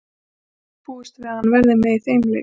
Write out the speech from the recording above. Ekki er búist við að hann verði með í þeim leik.